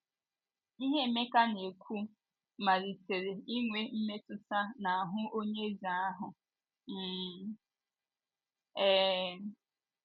Ihe Emeka na - ekwu malitere inwe mmetụta n’ahụ́ onye eze ahụ um. um